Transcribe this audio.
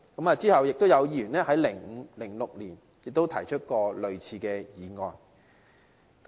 其後，有議員在2005年至2006年也提出過類似議案。